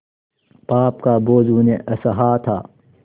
पाप का बोझ उन्हें असह्य था